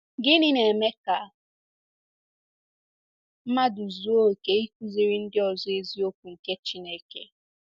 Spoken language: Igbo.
Gịnị na-eme ka mmadụ zuo oke ịkụziri ndị ọzọ eziokwu nke Chineke?